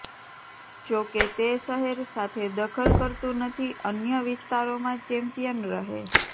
જોકે તે શહેર સાથે દખલ કરતું નથી અન્ય વિસ્તારોમાં ચેમ્પિયન રહે